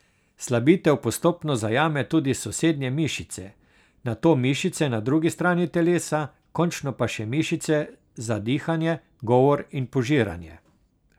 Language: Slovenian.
Slabitev postopno zajame tudi sosednje mišice, nato mišice na drugi strani telesa, končno pa še mišice za dihanje, govor in požiranje.